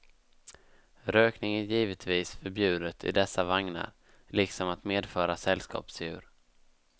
Rökning är givetvis förbjudet i dessa vagnar, liksom att medföra sällskapsdjur.